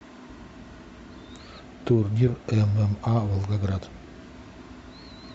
турнир эм эм а волгоград